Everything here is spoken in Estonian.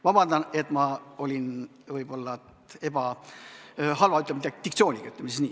Vabandust, et mul oli võib-olla halb diktsioon, ütleme siis nii.